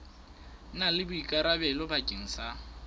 na le boikarabelo bakeng sa